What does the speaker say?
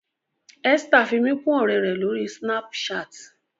Esther fí mí kún òré rẹ l'ori Snapchat.